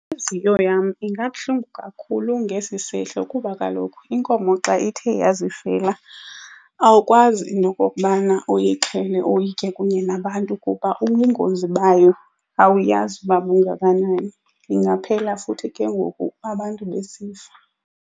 Intliziyo yam ingabuhlungu kakhulu ngesi sehlo kuba kaloku inkomo xa ithe yazifela, awukwazi nokokubana uyixhele uyitye kunye nabantu kuba ubungozi bayo awuyazi uba bungakanani. Ingaphela futhi ke ngoku abantu besifa.